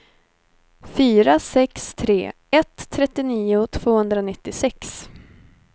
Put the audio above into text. fyra sex tre ett trettionio tvåhundranittiosex